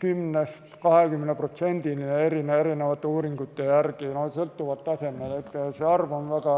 10–20% ühiskonnast eri uuringute järgi, sõltuvalt tasemest.